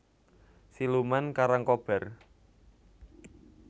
Siluman Karangkobar